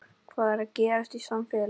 Hvað er að gerast í samfélaginu?